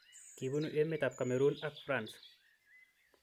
Kibunu emet ab Cameroon ak France.